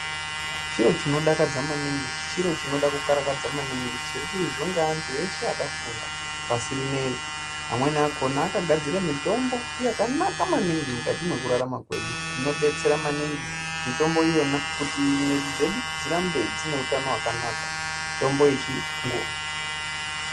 Chiro chinodakadza maningi chiro chinoda kukarakadza maningi chirikuizwe ne antu eshe akafunda pashi rineiri amweni akhona akagadzira mitombo yaka aka maningi mukati mwekurarama dzinodetsera maningi mutombo yona kuti mwiri dzedu dzirambe dzine utano hwakanaka mitombo yechiyungu.